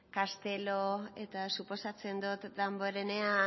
castelo eta suposatzen dut damborenea